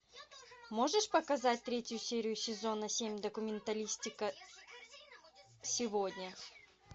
можешь показать третью серию сезона семь документалистика сегодня